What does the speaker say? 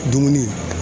Dumuni